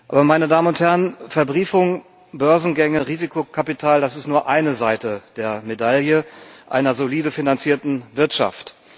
Aber Verbriefung, Börsengänge, Risikokapital, das ist nur eine Seite der Medaille einer solide finanzierten Wirtschaft.